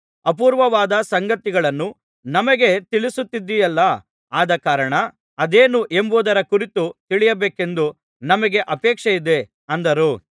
ಅಪೂರ್ವವಾದ ಸಂಗತಿಗಳನ್ನು ನಮಗೆ ತಿಳಿಸುತ್ತಿದ್ದೀಯಲ್ಲಾ ಆದಕಾರಣ ಅದೇನು ಎಂಬುದರ ಕುರಿತು ತಿಳಿಯಬೇಕೆಂದು ನಮಗೆ ಅಪೇಕ್ಷೆಯಿದೆ ಅಂದರು